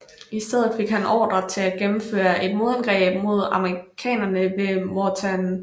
I stedet fik han ordre til at gennemføre et modangreb mod amerikanerne ved Mortain